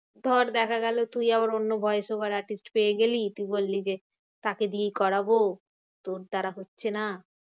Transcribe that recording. ধর দেখা গেলো তুই আবার অন্য voice over artist পেয়ে গেলি। তুই বললি যে তাকে দিয়েই করবো তোর দ্বারা হচ্ছে না।